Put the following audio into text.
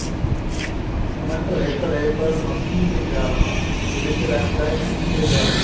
ਕਹਿੰਦਾ ਘੜੇ ਘੜੇ ਪਰ ਮੱਗੀ ਵੀ ਜਾਲਮਾ ਦਿਲ ਚ ਰੱਖਦਾ ਠੱਗੀ ਵੇ ਜਾਲਮਾ